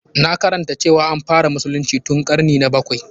Na karanta cewa an fara musulunci tun ƙarni na bakwai.